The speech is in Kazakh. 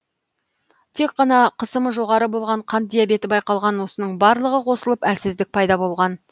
тек қан қысымы жоғары болған қант диабеті байқалған осының барлығы қосылып әлсіздік пайда болған